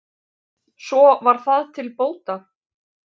svo var það til bóta